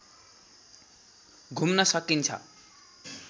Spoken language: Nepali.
घुम्न सकिन्छ